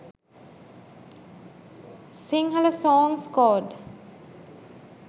sinhala songs code